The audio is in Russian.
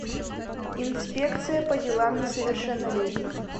инспекция по делам несовершеннолетних